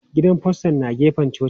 Gidan faston na gefen cocin.